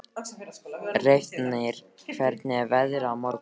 Reifnir, hvernig er veðrið á morgun?